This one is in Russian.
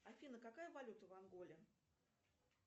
афина какая валюта в анголе